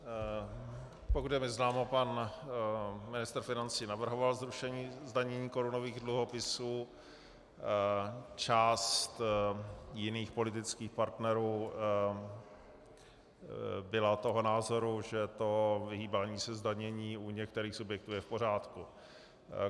Pokud je mi známo, pan ministr financí navrhoval zrušení zdanění korunových dluhopisů, část jiných politických partnerů byla toho názoru, že to vyhýbání se zdanění u některých subjektů je v pořádku.